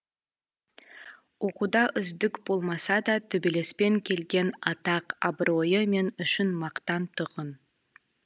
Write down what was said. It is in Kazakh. оқуда үздік болмаса да төбелеспен келген атақ абыройы мен үшін мақтан тұғын